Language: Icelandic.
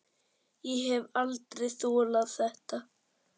Ég hef aldrei þolað þetta